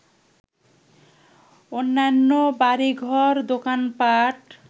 অন্যান্য বাড়িঘর, দোকানপাট